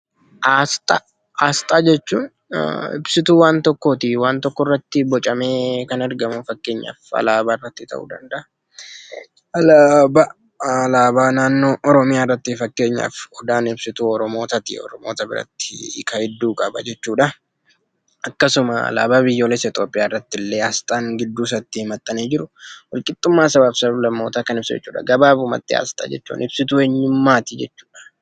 Asxaa jechuun ibsituu waan tokkooti. Waan tokko irratti bocamee kan argamu fakkeenyaaf alaabaa irratti ta'uu danda'a. Alaabaa, alaabaa naannoo Oromiyaa irratti fakkeenyaaf odaan ibsituu Oromotaati, Oromota biratti hiikaa hedduu qaba jechuudha. Akkasuma alaabaa biyyoolessa Itoophiyaa irrattillee asxaan gidduusaatti maxxanee jiru walqixxummaa sabaaf sab-lammootaa kan ibsu jechuudha. Gabaabumatti asxaa jechuun ibsituu eenyummaati jechuudha.